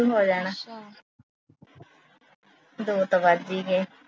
ਸ਼ੁਰੂ ਹੋ ਜਾਣਾ ਦੋ ਤਾ ਵੱਜ ਈ ਗਏ।